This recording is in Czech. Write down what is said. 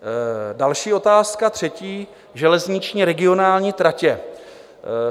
Další otázka, třetí: Železniční regionální tratě.